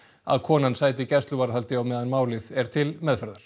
að konan sæti gæsluvarðhaldi á meðan málið er til meðferðar